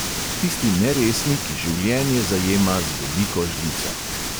Tisti neresni, ki življenje zajema z veliko žlico.